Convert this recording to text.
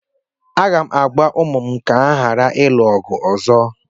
M ga-agwa ụmụ m ka ha ghara ịlụ ọgụ ọzọ